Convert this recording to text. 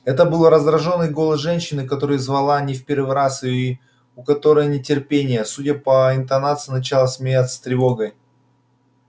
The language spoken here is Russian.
это был раздражённый голос женщины которая звала не в первый раз и у которой нетерпение судя по интонациям начало сменяться тревогой